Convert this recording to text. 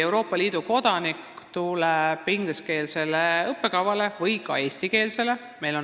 Euroopa Liidu kodanik võib tulla siia ingliskeelsele või ka eestikeelsele õppekavale.